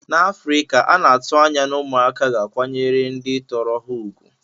N'Afrika, a na-atụ anya na ụmụaka ga-akwanyere ndị tọrọ ha ùgwù.